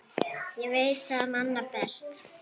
Ég veit það manna best.